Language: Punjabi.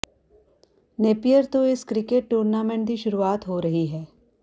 ਨੇਪੀਅਰ ਤੋਂ ਇਸ ਕ੍ਰਿਕੇਟ ਟੂਰਨਾਮੈਂਟ ਦੀ ਸ਼ੁਰੂਆਤ ਹੋ ਰਹੀ ਹੈ